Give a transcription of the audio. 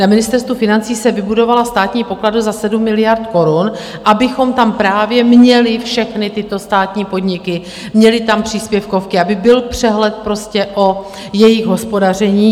Na Ministerstvu financí se vybudovala Státní pokladna za 7 miliard korun, abychom tam právě měli všechny tyto státní podniky, měli tam příspěvkovky, aby byl přehled prostě o jejich hospodaření.